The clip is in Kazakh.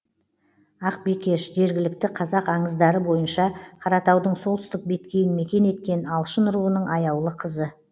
ақбикеш жергілікті қазақ аңыздары бойынша қаратаудың солтүстік беткейін мекен еткен алшын руының аяулы қызы